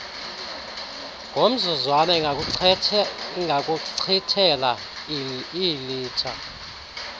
ngomzuzwana ingakuchithela iilitha